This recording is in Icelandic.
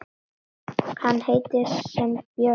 Hann heitir sem björn.